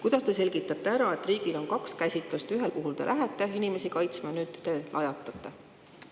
Kuidas te selgitate ära, et riigil on kaks käsitlust: ühel puhul te lähete inimesi kaitsma, nüüd te aga lajatate?